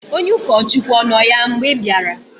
onye ụkọchukwu ọ nọ ya mgbe ị bịara?